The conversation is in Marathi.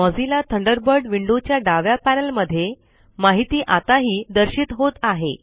मोझिल्ला थंडरबर्ड विंडो च्या डाव्या पॅनल मध्ये माहिती आताही दर्शित होत आहे